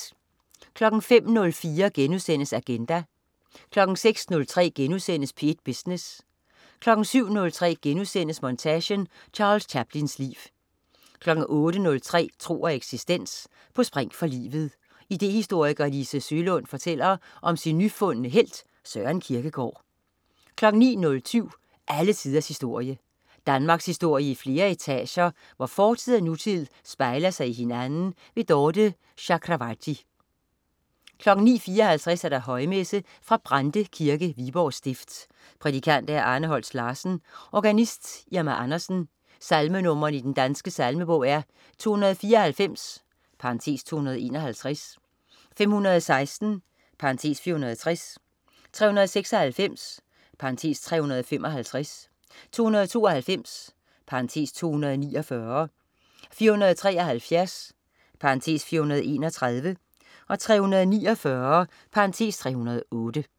05.04 Agenda* 06.03 P1 Business* 07.03 Montage: Charles Chaplins liv* 08.03 Tro og eksistens. På spring for livet. Idehistoriker Lise Søelund fortæller om sin nyfundne helt, Søren Kierkegaard 09.07 Alle tiders historie. Danmarkshistorie i flere etager, hvor fortid og nutid spejler sig i hinanden. Dorthe Chakravarty 09.54 Højmesse. Fra Brande Kirke, Viborg stift. Prædikant: Arne Holst Larsen. Organist: Irma Andersen. Salmenr. i Den Danske Salmebog: 294 (251), 516 (460), 396 (355), 292 (249), 473 (431), 349 (308)